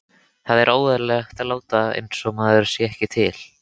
Það er óeðlilegt að láta einsog maður sé ekki til.